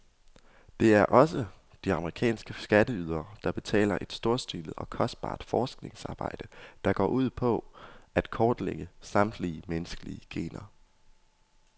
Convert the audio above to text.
Det er også de amerikanske skatteydere, der betaler et storstilet og kostbart forskningsarbejde, der går ud på at kortlægge samtlige menneskelige gener.